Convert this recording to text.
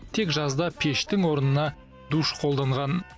тек жазда пештің орнына душ қолданған